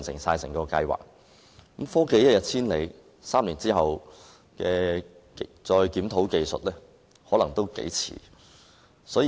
但是，科技一日千里，假如在3年後才檢討技術，我恐怕已經太遲。